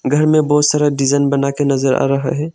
घर में बहुत सारा डिजन बनाकर नजर आ रहा है।